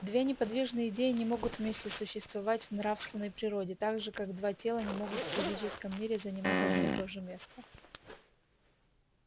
две неподвижные идеи не могут вместе существовать в нравственной природе так же как два тела не могут в физическом мире занимать одно и то же место